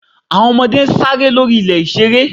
àwọn ọmọde saré lo rí ilé ìsere.